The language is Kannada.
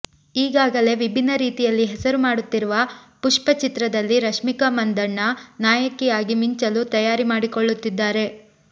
ಈಗಾಗಲೇ ವಿಭಿನ್ನ ರೀತಿಯಲ್ಲಿ ಹೆಸರು ಮಾಡುತ್ತಿರುವ ಪುಷ್ಪ ಚಿತ್ರದಲ್ಲಿ ರಶ್ಮಿಕಾ ಮಂದಣ್ಣ ನಾಯಕಿಯಾಗಿ ಮಿಂಚಲು ತಯಾರಿ ಮಾಡಿಕೊಳ್ಳುತ್ತಿದ್ದಾರೆ